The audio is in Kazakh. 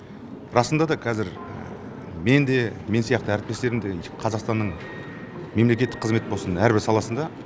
расында да қазір мен де мен сияқты әріптестерім де қазақстанның мемлекеттік қызмет болсын әрбір саласында